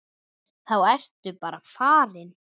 Þá ertu bara farin.